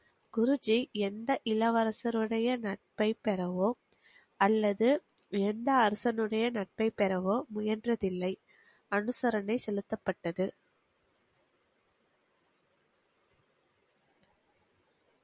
குருஜி எந்த இளவரசருடைய நட்பை பெறவோ அல்லது எந்த அரசனுடைய நட்பை பெறவோ முயன்றதில்லை அனுசரணை செலுத்தப்பட்டது